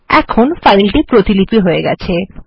এখন ফাইল প্রতিপিলি হয়ে গেছে